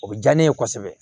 O bɛ diya ne ye kosɛbɛ